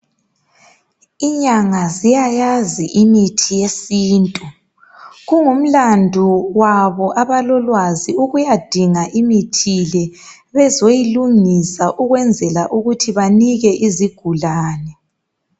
Inyanga ziyayazi imithi yesintu. Kungumlandu wabo abalolwazi ukuyadinga imithi le bezoyilungisa ukwenzela ukuthi banike izigulani.